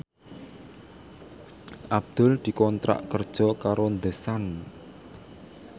Abdul dikontrak kerja karo The Sun